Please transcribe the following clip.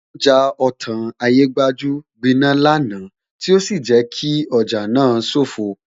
Ọjà Otan Ayégbajú gbiná lánàá tí ó sì jẹ́ kí ọjà náà sofoo